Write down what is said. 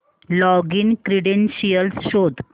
login credentials शोध